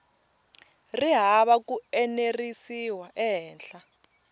ri hava ku enerisiwa ehenhla